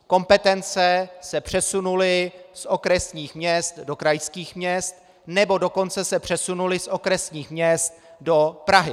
Kompetence se přesunuly z okresních měst do krajských měst, nebo dokonce se přesunuly z okresních měst do Prahy.